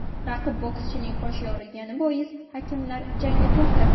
Raqib bokschining qoshi yorilgani bois, hakamlar jangni to‘xtatdi.